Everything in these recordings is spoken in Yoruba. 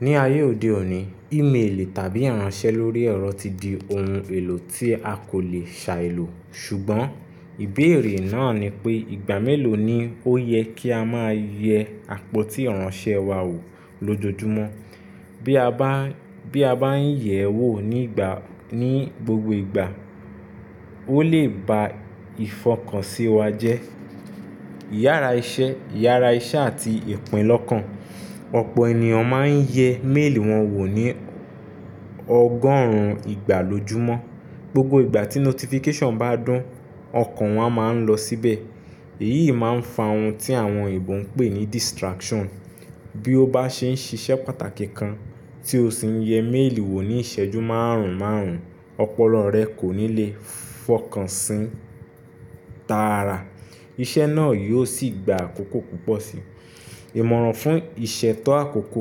Ní ayé òde òní, ímélì tàbí ìránṣẹ́ lórí ẹ̀rọ ti di ohun èlò tí a kò le ṣài lò. Ṣùgbọ́n ìbéèrè náà ni pé ìgbà mélòó ni ó yẹ kí a máa yẹ àpótí ìránṣẹ́ wa wò lójojúmọ́? Bí a bá ń yẹ̀ ẹ́ wò ní gbogbo ìgbà, ó lè ba ìfọkànsí wa jẹ́. Ìyára iṣẹ́ àti ìpín lọ́kàn. Ọ̀pọ̀ ènìyàn máa ń yẹ méèlì wọn wò ní ọgọ́rùn-ún ìgbà lójúmọ́. Gbogbo ìgbà tí notification bá dún, ọkàn wọn a máa ń lọ síbẹ̀. Èyí máa ń fa ohun tí àwọn Ìgbò ń pè ní distraction. Bí ó bá ṣe ń ṣiṣẹ́ pàtàkì kan, tí o sì ń yẹ méèlì wò ní ìṣẹ́jú márùn-ún márùn-ún, ọpọlọ rẹ kò ní lè fọkàn sí i tààrà. Iṣẹ́ náà yóò sì gba àkókò púpọ̀ sí i. Ìmọràn fún ìṣètọ́ àkókò.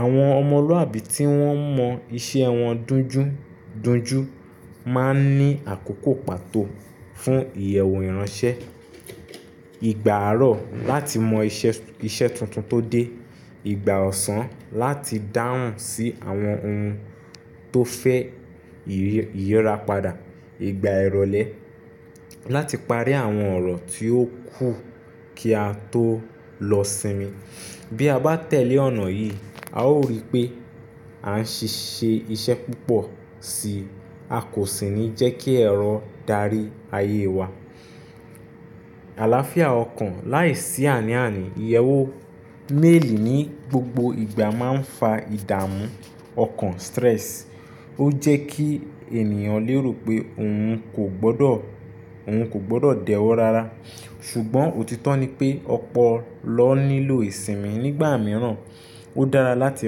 Àwọn ọmọlúàbí tí wọ́n mọ iṣẹ́ wọn dunjúdunjú máa ń ní àkókò pàtó fún ìyẹ̀wò ìránṣẹ́. Ìgbà àárọ̀ láti mọ iṣẹ́ tuntun tó dé, ìgbà ọ̀sán láti dáhùn sí àwọn ohun tó fẹ́ ìyírapadà, ìgbà ìrọ̀lẹ́ láti parí àwọn ọ̀rọ̀ tí ó kù kí a tó lọ sinmi. Bí a bá tẹ̀lé ọ̀nà yìí, a ó rí pé a ń ṣ'iṣẹ́ púpọ̀ sí i, a kò sì ní jẹ́ kí ẹ̀rọ darí ayé wa. Àláfíà ọkàn. Láìsí àní-àní, ìyẹ̀wò méèlì ní gbogbo ìgbà máa ń fa ìdààmú ọkàn, stress. Ó jẹ́ kí ènìyàn lé rò pé òun kò gbọdọ̀ dẹ̀ wọ́ rara. Ṣùgbọ́n òtítọ́ ni pé ọ̀pọ̀ ló nílò ìsinmi nígbà mìíràn. Ó dára láti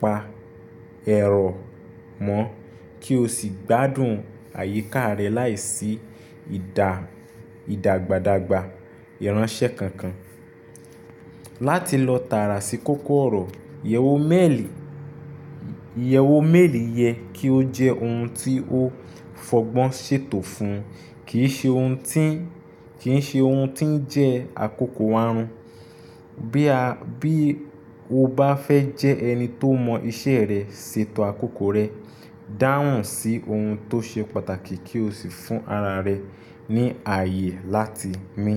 pa ẹ̀rọ mọ́ kí o sì gbádùn àyíká rẹ láìsí ìdàgbàdagbà ìránṣẹ́ kankan. Láti lọ tààrà sí kókó ọ̀rọ̀, Iyewo meeli ìyẹ̀wò méèlì yẹ kí ó jẹ́ ohun tí ó fọgbọ́n ṣètò fún, kì í ṣe ohun tí ń jẹ́ àkókò wa run. Bí o bá fẹ́ jẹ ẹni tó mọ iṣẹ́ rẹ, ṣètò àkókò rẹ. Dáhùn sí ohun tó ṣe pàtàkì kí o sì fún ara rẹ ní ayé láti mi.